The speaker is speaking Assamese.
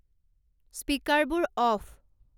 স্পীকাৰবোৰ অফ